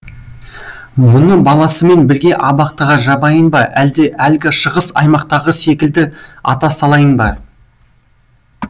мұны баласымен бірге абақтыға жабайын ба әлде әлгі шығыс аймақтағы секілді ата салайын ба